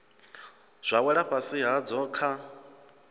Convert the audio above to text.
zwa wela fhasi hadzo kha